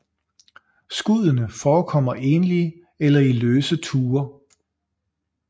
Skuddene forekommer enlige eller i løse tuer